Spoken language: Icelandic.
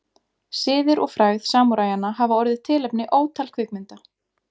Siðir og frægð samúræjanna hafa orðið tilefni ótal kvikmynda.